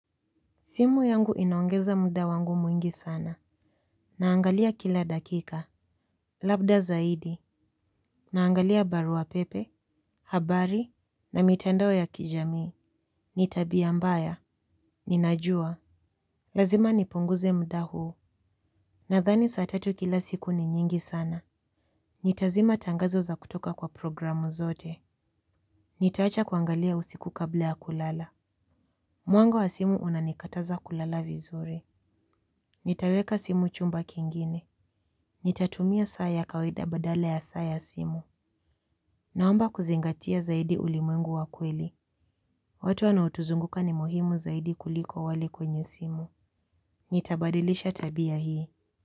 Simu yangu inaongeza muda wangu mwingi sana. Naangalia kila dakika. Labda zaidi. Naangalia barua pepe, habari, na mitandao ya kijamii. Ni tabia mbaya. Ninajua. Lazima nipunguze muda huu. Nathani saa tatu kila siku ni nyingi sana. Nitazima tangazo za kutoka kwa programu zote. Nitaacha kuangalia usiku kabla ya kulala. Mwanga wa simu unanikataza kulala vizuri. Nitaweka simu chumba kingine. Nitatumia saa ya kawaida badala ya saa ya simu. Naomba kuzingatia zaidi ulimwengu wa kweli. Watu wanaotuzunguka ni muhimu zaidi kuliko wale kwenye simu. Nitabadilisha tabia hii.